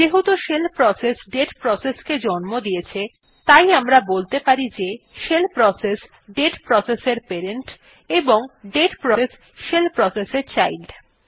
যেহেতু shell process date process কে জন্ম দিয়েছে তাই আমরা বলতে পারি যে শেল প্রসেস দাতে প্রসেস এর প্যারেন্ট এবং দাতে প্রসেস শেল প্রসেস এর চাইল্ড